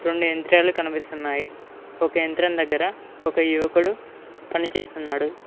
రెండు యంత్రాలు కనిపిస్తున్నాయి ఒక యంత్రం దగ్గర ఒక యువకుడు పనిచేస్తున్నాడు.